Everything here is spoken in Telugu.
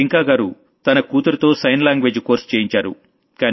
టింకా గారు తన కూతురితో సైన్ లాంగ్వేజ్ కోర్స్ చేయించారు